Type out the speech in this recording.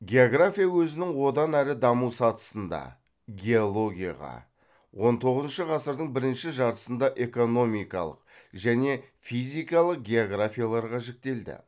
география өзінің одан әрі даму сатысында геологияға он тоғызыншы ғасырдың бірінші жартысында экономикалық және физикалық географияларға жіктелді